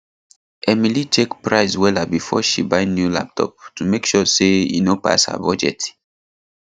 emily check price wella before she buy new laptop to make sure say e no pass her budget